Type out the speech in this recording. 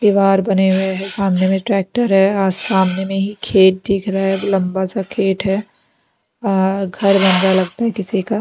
दीवार बने हुए हैं सामने में ट्रैक्टर है आज सामने में ही खेत दिख रहा है लंबा सा खेत है घर बंगा लगता है किसी का--